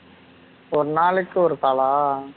ஒரு நாளைக்கு ஒரு call ஆ